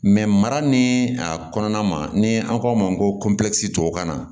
mara ni a kɔnɔna ma ni an k'a ma ko tubabukan na